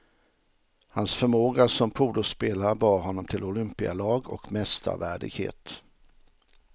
Hans förmåga som polospelare bar honom till olympialag och mästarvärdighet.